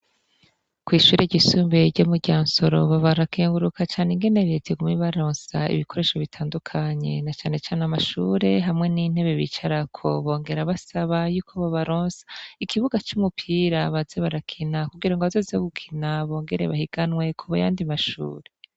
Kw'ishuri ryisumbuye ryo muryansoro barakenguruka ingene reta iguma ibarosa ibikoresho bitandukanye nacanecane amashure hamwe n'intebe bicarako. Bongera basaba yuko bobaronsa ikibuga c'umupira baze barakina kugira bazoze gukina bongere bahiganwe kuyandi mashure.